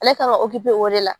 Ale kan ka o de la